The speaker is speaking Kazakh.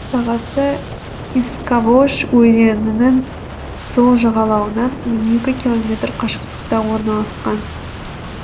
сағасы искавож өзенінің сол жағалауынан он екі километр қашықтықта орналасқан